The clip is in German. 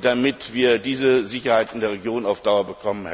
damit wir die Sicherheit in der Region auf Dauer bekommen.